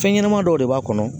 Fɛn ɲɛnɛma dɔw de b'a kɔnɔ.